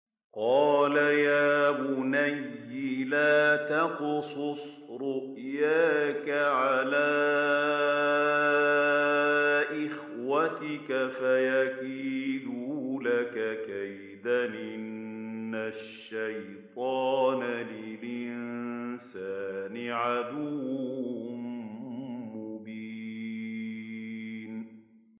قَالَ يَا بُنَيَّ لَا تَقْصُصْ رُؤْيَاكَ عَلَىٰ إِخْوَتِكَ فَيَكِيدُوا لَكَ كَيْدًا ۖ إِنَّ الشَّيْطَانَ لِلْإِنسَانِ عَدُوٌّ مُّبِينٌ